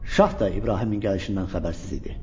Şah da İbrahimin gəlişindən xəbərsiz idi.